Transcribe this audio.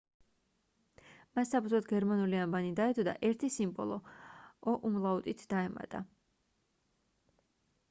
მას საფუძვლად გერმანული ანბანი დაედო და ერთი სიმბოლო õ/õ დაემატა